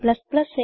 a